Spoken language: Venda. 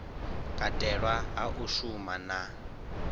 katelwa hu a shuma na